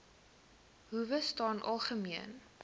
howe staan algemeen